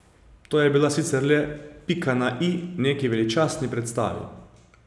To je bila sicer le pika na i neki veličastni predstavi.